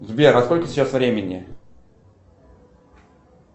сбер а сколько сейчас времени